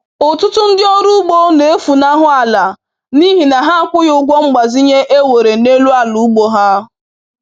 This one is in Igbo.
Ụtụtụ ndị ọrụ ugbo na-efunahụ ala n’ihi na ha akwụghị ụgwọ mgbazinye ewere n’elu ala ugbo ha